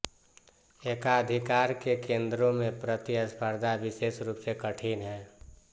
एकाधिकार के केंद्रों में प्रतिस्पर्धा विशेष रूप से कठिन है